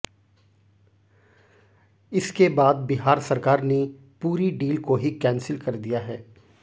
इसके बाद बिहार सरकार ने पूरी डील को ही कैंसिल कर दिया है